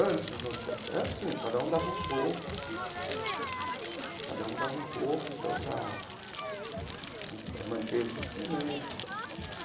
Antes é assim, cada um dava um pouco cada um dava um pouco então para manter os instrumentos tal.